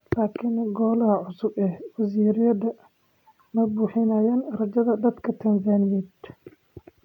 Laakiin Golaha cusub ee wasiirrada ma buuxinayaa rajada dadka Tanzaniyeed?